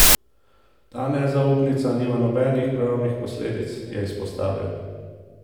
Ta nezaupnica nima nobenih pravnih posledic, je izpostavil.